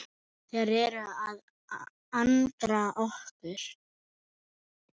Þeir eru að angra okkur.